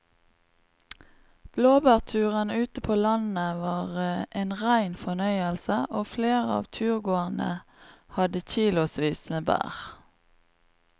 Blåbærturen ute på landet var en rein fornøyelse og flere av turgåerene hadde kilosvis med bær.